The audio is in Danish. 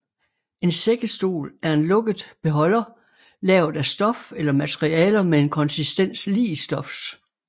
En sækkesstol er en lukket beholder lavet af stof eller materialer med en konsistens lig stofs